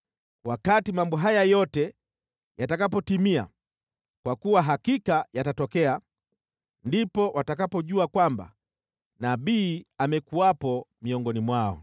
“Wakati mambo haya yote yatakapotimia, kwa kuwa hakika yatatokea, ndipo watakapojua kwamba nabii amekuwepo miongoni mwao.”